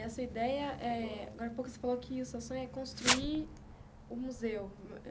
E a sua ideia eh, agora a pouco você falou que o seu sonho é construir um museu.